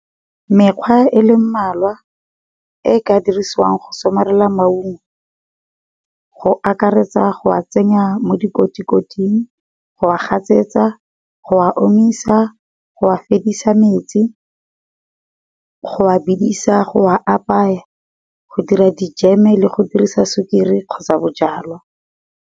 Mekgwa e le mmalwa e ka dirisiwang go somarela maungo, go akaretsa go a tsenya mo di koti-koting, go a gatsetsa, go a omisa, go a fedisa metsi, go a bidisa, go a apaya, go dira di jeme le go dirisa sukiri kgotsa bojalwa.